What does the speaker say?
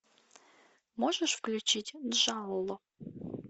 можешь включить джалло